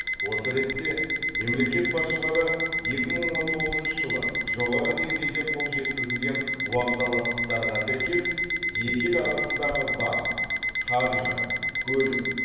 осы ретте мемлекет басшылары екі мың он тоғызыншы жылы жоғары деңгейде қол жеткізілген уағдаластықтарға сәйкес екі ел арасындағы банк қаржы көлік